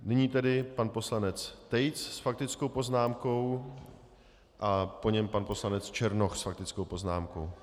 Nyní tedy pan poslanec Tejc s faktickou poznámkou a po něm pan poslanec Černoch s faktickou poznámkou.